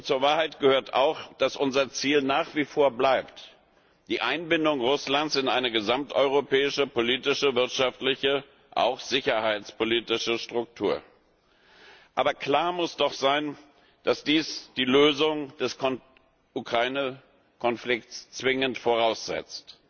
Zur Wahrheit gehört auch, dass unser Ziel nach wie vor die Einbindung Russlands in eine gesamteuropäische politische, wirtschaftliche, auch sicherheitspolitische Struktur bleibt. Aber klar muss doch sein, dass dies die Lösung des Ukraine Konflikts zwingend voraussetzt.